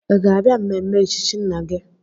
Ị ga-abịa mmemme echichi nna gị?